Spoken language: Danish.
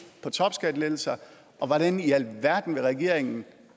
til topskattelettelser og hvordan i alverden regeringen vil